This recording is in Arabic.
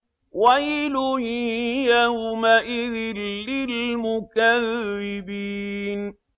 وَيْلٌ يَوْمَئِذٍ لِّلْمُكَذِّبِينَ